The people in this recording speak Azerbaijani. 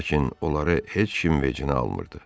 Lakin onları heç kim vecinə almırdı.